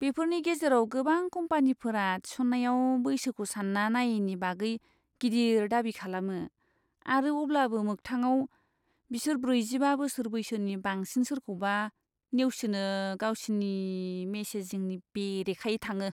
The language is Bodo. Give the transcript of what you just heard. बेफोरनि गेजेराव गोबां कम्पानिफोरा थिसननायाव बैसोखौ सान्ना नायैनि बागै गिदिर दाबि खालामो आरो अब्लाबो मोगथाङाव, बिसोर ब्रैजिबा बोसोर बैसोनि बांसिन सोरखौबा नेवसिनो गावसिनि मेसेजिंनि बेरेखायै थाङो।